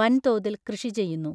വൻതോതിൽ കൃഷി ചെയ്യുന്നു.